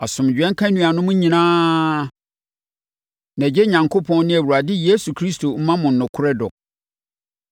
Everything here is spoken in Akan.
Asomdwoeɛ nka anuanom nyinaa, na Agya Onyankopɔn ne Awurade Yesu Kristo mma mo nokorɛ dɔ.